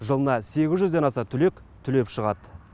жылына сегіз жүзден аса түлек түлеп шығады